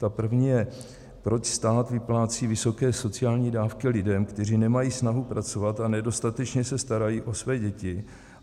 Ta první je - proč stát vyplácí vysoké sociální dávky lidem, kteří nemají snahu pracovat a nedostatečně se starají o své děti.